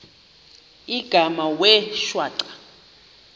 igama wee shwaca